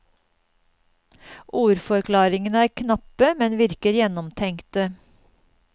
Ordforklaringene er knappe, men virker gjennomtenkte.